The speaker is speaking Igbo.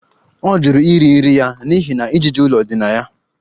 Ọ jụrụ iri nri ya n'ihi na ijiji ụlọ dị na ya